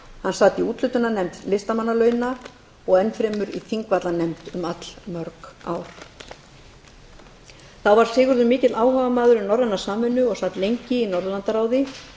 hann sat í úthlutunarnefnd listamannalauna og enn fremur í þingvallanefnd í allmörg ár þá var sigurður mikill áhugamaður um norræna samvinnu og sat lengi í norðurlandaráði